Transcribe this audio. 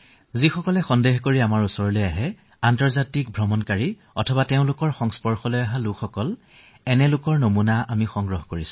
যিসকলে আমাৰ ইয়ালৈ সন্দেহৰ আৱৰ্তত আহে আন্তৰ্জাতিক ভ্ৰমণকাৰীসকল আহে তেওঁলোককো আমি নিৰীক্ষণ কৰি আছো